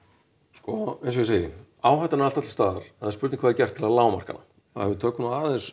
sko eins og ég segi áhættan er alltaf til staðar það er spurning hvað er gert til þess að lágmarka hana ef við tökum nú aðeins